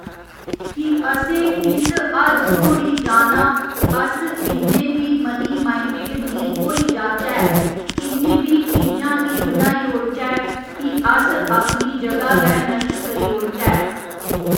कि असें किस हद तोड़ी जाना अस इन्ने बी मनी माइंडेड निं होई जाह्चै इन्नी बी चीजां नी बनाई ओड़चै कि अस अपनी जगह गै नश्ट करी ओड़चै